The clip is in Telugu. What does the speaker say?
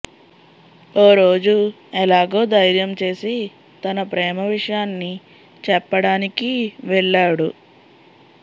ఓరోజు ఎలాగో ధైర్యం చేసి తన ప్రేమ విషయాన్ని చెప్పడానిక వెళ్లాడు